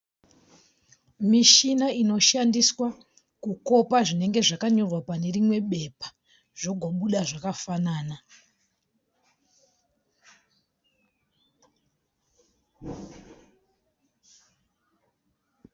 Michina inoshandiswa kukopa zvinenge zvakanyorwa pane rimwe bepa zvogobuda zvakafanana.